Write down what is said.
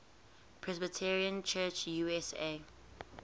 presbyterian church usa